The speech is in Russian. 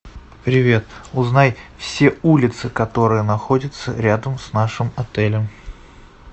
привет узнай все улицы которые находятся рядом с нашим отелем